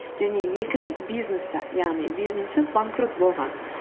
және екі рет бизнесте яғни бизнесі банкрот болған